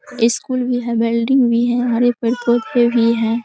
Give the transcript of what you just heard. school भी है building भी है हर एक पेड़-पौध भी है